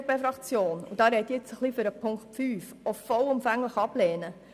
Die EVP-Fraktion wird, und hier spreche ich zu Ziffer 5, eine Prämienerhöhung vollumfänglich ablehnen.